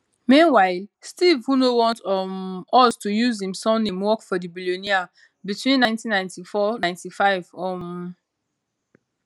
meanwhile steve who no want um us to use im surname work for di billionaire between 199495 um